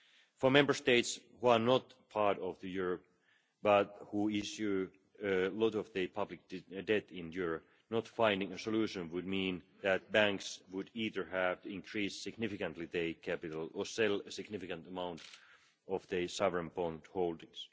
For Member States which are not part of the euro but which issue a lot of their public debt in euros, not finding a solution would mean that banks would either have to increase significantly their capital or sell a significant amount of their sovereign bond holdings.